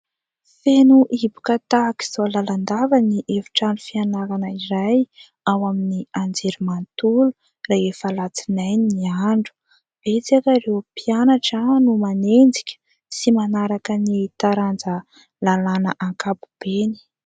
Feno hiboka tahak'izao lalandava ny efi-trano fianarana iray ao amin'ny anjery manontolo rehefa Alatsinainy ny andro. Betsaka ireo mpianatra no manenjika sy manaraka ny taranja lalàna ankabobeny.